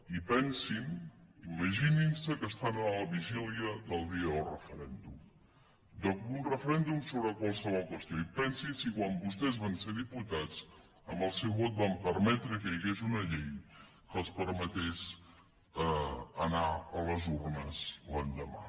i pensin imagininse que estan a la vigília del dia del referèndum d’un referèndum sobre qualsevol qüestió i pensin si quan vostès van ser diputats amb el seu vot van permetre que hi hagués una llei que els permetés anar a les urnes l’endemà